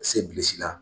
Se bilili la